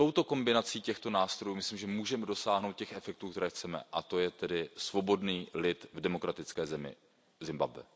Kombinací těchto nástrojů, myslím, že můžeme dosáhnout těch efektů, které chceme, a to je tedy svobodný lid v demokratické zemi Zimbabwe.